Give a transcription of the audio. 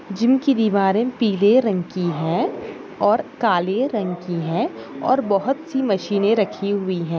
Gym की दिवारे पीले रंग की है और काले रंग की है और बहुत सी मसीने रखी हुई है।